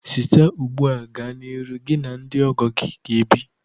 Site ugbu a gaa n'ihu, gị na ndị ọgọ gị ga-ebi.